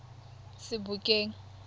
sebokeng